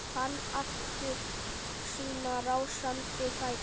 Fann aftur sína rásandi fætur.